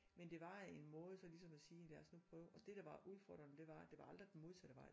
Men det var en måde så ligesom at sige lad os nu prøve og det der var udfordrene det var at det var aldrig den modsatte vej